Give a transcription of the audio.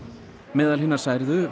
meðal særðra